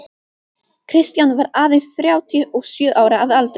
Kristján var aðeins þrjátíu og sjö ára að aldri.